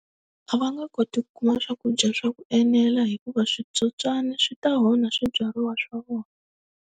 A va nga koti ku kuma swakudya swa ku enela hikuva switsotswani swi ta onha swibyariwa swa vona.